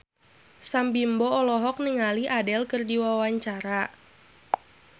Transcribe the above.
Sam Bimbo olohok ningali Adele keur diwawancara